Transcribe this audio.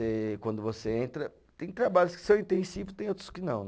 quando você entra, tem trabalhos que são intensivos, tem outros que não.